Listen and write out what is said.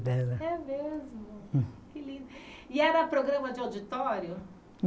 Dela É mesmo que lindo e era programa de auditório?